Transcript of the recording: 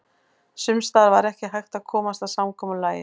Sums staðar var ekki hægt að komast að samkomulagi.